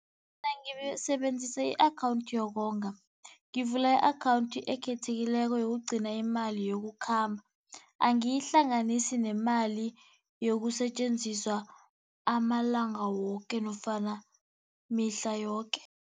Mina ngisebenzisa i-akhawundi yokonga. Ngivula i-akhawundi ekhethekileko yokugcina imali yokukhamba, angiyihlanganisi nemali yokusetjenziswa amalanga woke nofana mihla yoke.